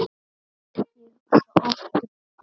Ég hugsa oft til þín.